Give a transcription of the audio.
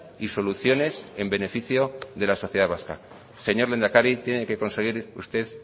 y soluciones en beneficio de la sociedad vasca señor lehendakari tiene que conseguir usted